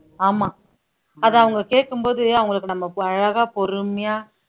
ஆமா அது அவங்க கேட்கும்போது அவங்களுக்கு நம்ம அழகா பொறுமையா